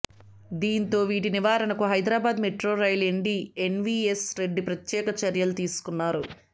దీంతో వీటి నివారణకు Hyderabad metro rail MD NVS Reddy ప్రత్యేక చర్యలు తీసుకున్నారు